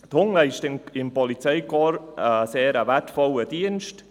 Die Hunde leisten im Polizeikorps einen sehr wertvollen Dienst;